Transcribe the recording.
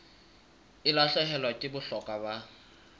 e lahlehelwa ke bohlokwa ba